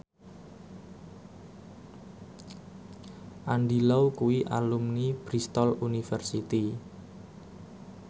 Andy Lau kuwi alumni Bristol university